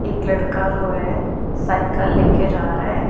एक लड़का रोये है साइकल लेके जा रहा है।